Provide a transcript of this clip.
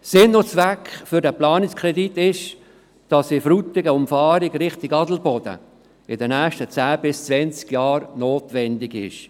Der Sinn und Zweck dieses Planungskredits besteht darin, dass die Umfahrung Frutigen in Richtung Adelboden in den nächsten zehn bis zwanzig Jahren notwendig sein wird.